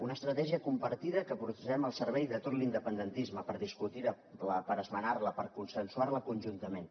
una estratègia compartida que posem al servei de tot l’independentisme per discutir la per esmenar la per consensuar la conjuntament